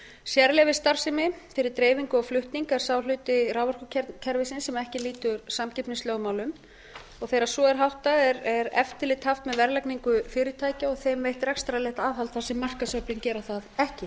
sérleyfisstarfsemi fyrir dreifingu og flutning er sá hluti raforkukerfisins sem ekki lýtur samkeppnislögmálum og þegar svo er háttað er eftirlit haft með verðlagningu fyrirtækja og þeim veitt rekstrarlegt aðhald þar sem markaðsöflin gera það ekki